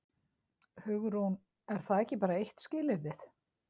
Hugrún: Er það ekki bara eitt skilyrðið?